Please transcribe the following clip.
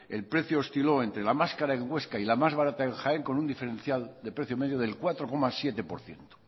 el precio osciló entre la más cara en huesca y la más barata en jaén con un diferencial de precio medio del cuatro coma siete por ciento